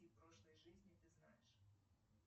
прошлой жизни ты знаешь